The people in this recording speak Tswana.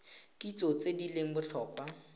kitso tse di leng botlhokwa